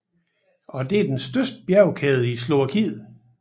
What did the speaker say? Det er den største bjergkæde i Slovakiet